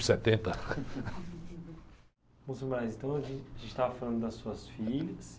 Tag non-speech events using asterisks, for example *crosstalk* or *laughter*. setenta. ntão, senhor, *unintelligible* então a gente estava falando das suas filhas.